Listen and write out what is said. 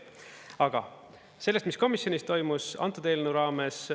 Aga sellest, mis komisjonis toimus antud eelnõu raames.